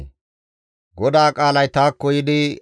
GODAA qaalay taakko yiidi,